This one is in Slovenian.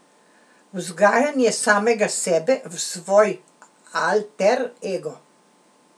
Vzgajanje samega sebe v svoj alter ego.